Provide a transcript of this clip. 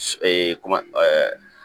kuma